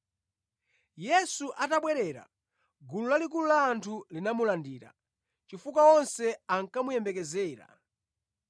Yesu atabwerera, gulu lalikulu la anthu linamulandira, chifukwa onse ankamuyembekezera.